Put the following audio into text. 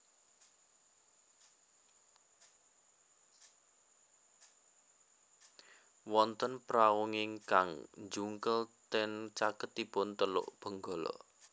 Wonten prauingkang njungkel ten caketipun Teluk Benggala